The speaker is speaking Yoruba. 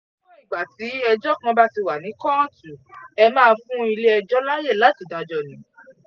níwọ̀n ìgbà tí ẹjọ́ kan bá ti wà ni kóòtù ẹ̀ máa fún ilé-ẹjọ́ láàyè láti dájọ́ ni